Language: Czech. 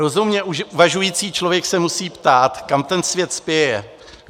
Rozumně uvažující člověk se musí ptát, kam ten svět spěje.